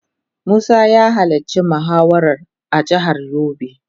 Musa ya halarci muhawarar a jihar yobe.